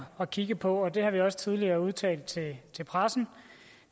at kigge på og det har vi også tidligere udtalt til pressen